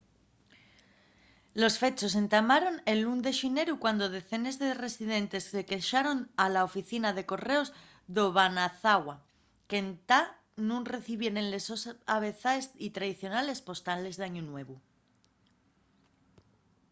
los fechos entamaron el 1 de xineru cuando decenes de residentes se quexaron a la oficina de correos d'obanazawa de qu'entá nun recibieren les sos avezaes y tradicionales postales d'añu nuevu